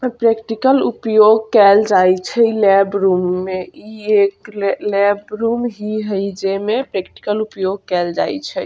और प्रैक्टिकल उपयोग केल जाय छै लैब रूम में इ एक ले लैब रूम ही हेय जे में प्रैक्टिकल उपयोग केएल जाय छै।